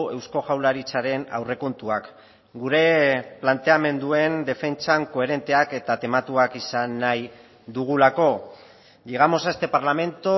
eusko jaurlaritzaren aurrekontuak gure planteamenduen defentsan koherenteak eta tematuak izan nahi dugulako llegamos a este parlamento